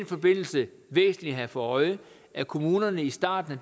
forbindelse væsentligt at have for øje at kommunerne i starten